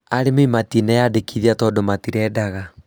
Arĩmi matineyandĩkithia tondũ matirendaga